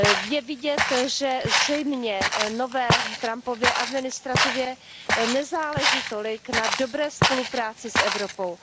Je vidět, že zřejmě nové Trumpově administrativě nezáleží tolik na dobré spolupráci s Evropou.